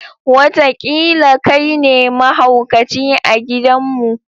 Wataƙila kai ne mahaukaci a gidanmu.